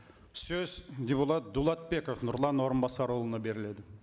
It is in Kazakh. сөз депутат дулатбеков нұрлан орынбасарұлына беріледі